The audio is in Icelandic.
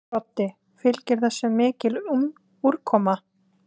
Broddi: Fylgir þessu mikil úrkoma?